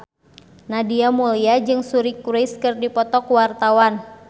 Nadia Mulya jeung Suri Cruise keur dipoto ku wartawan